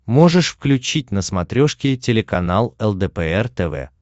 можешь включить на смотрешке телеканал лдпр тв